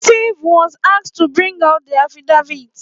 À ó ìåíÿ ïàðà âîïðîñà íå áûëî.